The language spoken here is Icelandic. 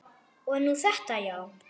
Og nú þetta, já.